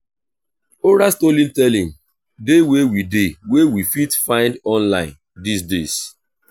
oral storytelling de wey we de wey we fit find online these days